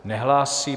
Nehlásí.